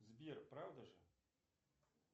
сбер правда же